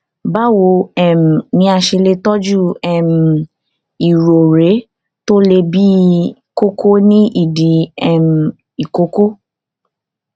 báwo um ni a ṣe lè tọjú um irorẹ tó le bíi kókó ní ìdí um ìkókó